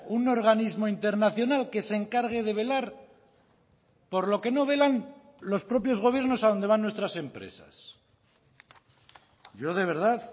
un organismo internacional que se encargue de velar por lo que no velan los propios gobiernos a donde van nuestras empresas yo de verdad